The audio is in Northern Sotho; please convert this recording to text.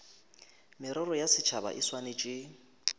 merero ya setšhaba e swanetše